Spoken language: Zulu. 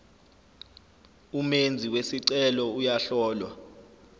umenzi wesicelo uyahlolwa